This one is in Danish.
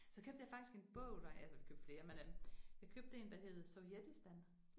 Så købte jeg faktisk en bog der, altså vi købte flere men øh, jeg købte 1, der hed Sovjetistan